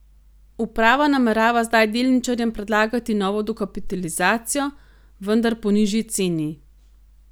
Uprava namerava zdaj delničarjem predlagati novo dokapitalizacijo, vendar po nižji ceni.